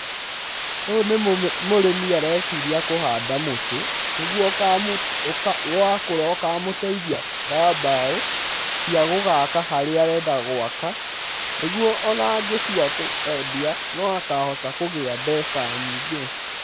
Ũyũ nĩ mũrĩmi areciria kũhanda mũtĩ nĩguo wakũra ũkamũteithia na mbaũ cia gũgaka harĩa arenda gwaka, nĩguo o na angĩtua kwendia no akahota kũgĩa mbeca nyingĩ.